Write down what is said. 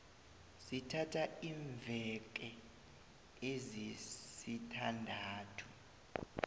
sithatha iimveke ezisithandathu